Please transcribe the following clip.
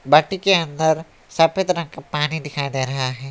बाटी के अंदर सफेद रंग का पानी दिखाई दे रहा है।